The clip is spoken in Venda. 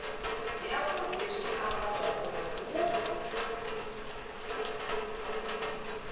yavhudi zwi amba zwauri hu